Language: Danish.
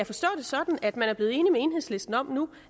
forstå det sådan at man nu er blevet enig med enhedslisten om